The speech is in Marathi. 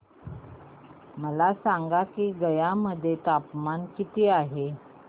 मला सांगा की गया मध्ये तापमान किती आहे